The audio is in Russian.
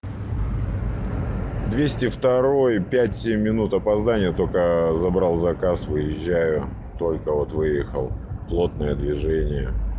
двести второй пять семь минут опоздание только забрал заказ выезжаю только вот выехал плотное движение